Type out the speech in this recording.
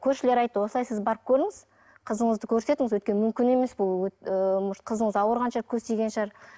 көршілер айтты осылай сіз барып көріңіз қызыңызды көрсетіңіз өйткені мүмкін емес ол ыыы может қызыңыз ауырған шығар көз тиген шығар